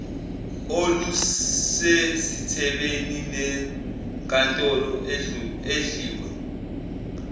olusezithebeni zenkantolo idliwe